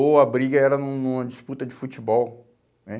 Ou a briga era num numa disputa de futebol, né?